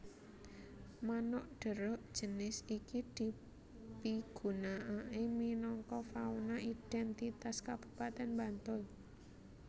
Manuk Deruk jinis iki dipigunakaké minangka fauna idhèntitas Kabupatèn Bantul